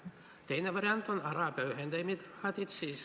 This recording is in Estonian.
Teine variant on Araabia Ühendemiraadid.